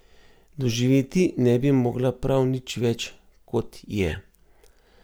Doživeti ne bi mogla prav nič več, kot je.